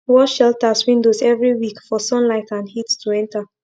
wash shelters windows every week for sunlight and heat to enter